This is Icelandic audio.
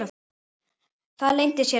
Það leyndi sér ekki.